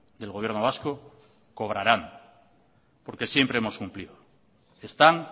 del gobierno vasco cobrarán porque siempre hemos cumplido están